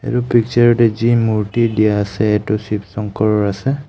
এইটো পিক্সাৰ ত যি মূৰ্তি দিয়া আছে এইটো শিৱ শংকৰ আছে.